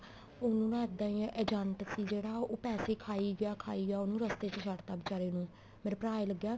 ਉਹ ਨਾ ਇੱਦਾਂ ਈ ਨਾ agent ਸੀ ਜਿਹੜਾ ਉਹ ਪੈਸੇ ਖਾਈ ਗਿਆ ਖਾਈ ਗਿਆ ਉਹਨੂੰ ਰਸਤੇ ਚ ਛੱਡ ਤਾਂ ਬੀਚਾਰੇ ਨੂੰ ਮੇਰਾ ਭਰਾ ਈ ਲੱਗਿਆ